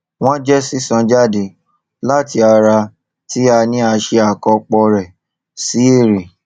wón jẹ sísan jáde láti ara tí a ní a ṣe àkàpọ rẹ sí èrè